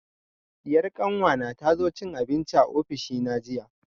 Diyar kanwa na ta zo cin abinci a ofishi na jiya